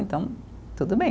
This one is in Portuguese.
Então, tudo bem.